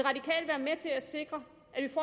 jeg er sikker